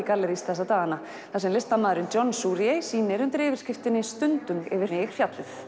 gallerís þessa dagana þar sem listamaðurinn John sýnir undir yfirskriftinni stundum yfir mig fjallið